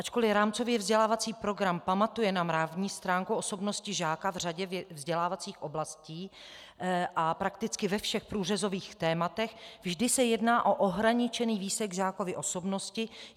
Ačkoli rámcově vzdělávací program pamatuje na mravní stránku osobnosti žáka v řadě vzdělávacích oblastí a prakticky ve všech průřezových tématech, vždy se jedná o ohraničený výsek žákovy osobnosti.